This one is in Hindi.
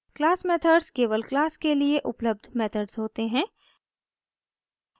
क्लास मेथड्स केवल क्लास के लिए उपलब्ध मेथड्स होते हैं